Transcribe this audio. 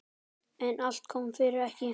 En allt kom fyrir ekki!